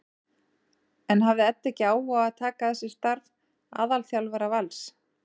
En hafði Edda ekki áhuga á að taka að sér starf aðalþjálfara Vals?